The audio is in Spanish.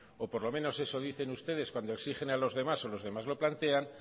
o por lo menos eso dicen ustedes cuando exigen a los demás o los demás lo plantean